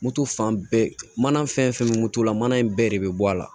Moto fan bɛɛ mana fɛn fɛn bɛ moto la mana in bɛɛ de bɛ bɔ a la